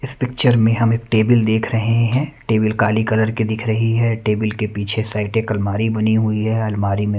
इस पिक्चर में हम एक टेबल देख रहे है टेबल काली कलर की दिखाई दे रही है टेबल के पीछे साईड एक अलमारी बनी हुई है अलमारी में --